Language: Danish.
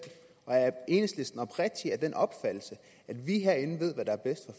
og er enhedslisten oprigtigt af den opfattelse at vi herinde ved hvad der er bedst